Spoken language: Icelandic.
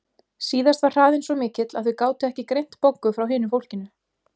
Síðast var hraðinn svo mikill að þau gátu ekki greint Boggu frá hinu fólkinu.